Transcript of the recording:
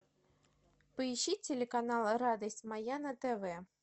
поищи телеканал радость моя на тв